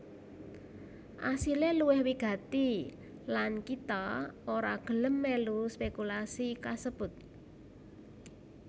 Asilé luwih wigati lan kita ora gelem mèlu spékulasi kasebut